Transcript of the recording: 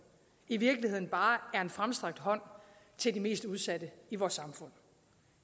i virkeligheden bare er en fremstrakt hånd til de mest udsatte i vores samfund